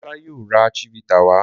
Demola yíò rà chivita wa.